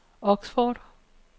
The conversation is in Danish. Oxford